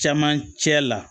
Camancɛ la